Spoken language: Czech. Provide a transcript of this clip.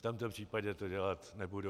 V tomto případě to dělat nebudu.